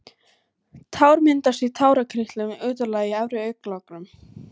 Tár myndast í tárakirtlum utarlega í efri augnlokunum.